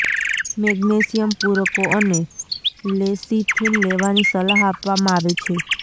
magnesium પૂરકો અને lecithin લેવાની સલાહ આપવામાં આવે છે